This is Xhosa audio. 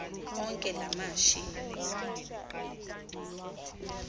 onke la mashi